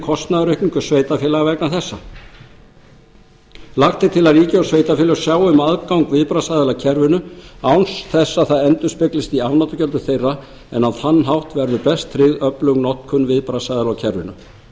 kostnaðaraukningu sveitarfélaga vegna þessa lagt er til að ríki og sveitarfélög sjái um aðgang viðbragðsaðila að kerfinu án þess að það endurspeglist í afnotagjöldum þeirra en á þann hátt verður best tryggð öflug notkun viðbragðsaðila á kerfinu